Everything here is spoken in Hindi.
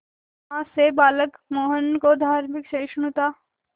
मां से बालक मोहन को धार्मिक सहिष्णुता